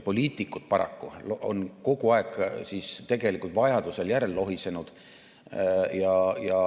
Poliitikud on paraku kogu aeg tegelikult vajadusel järel lohisenud.